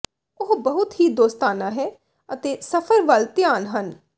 ਉਹ ਬਹੁਤ ਹੀ ਦੋਸਤਾਨਾ ਹੈ ਅਤੇ ਸਫਰ ਵੱਲ ਧਿਆਨ ਹਨ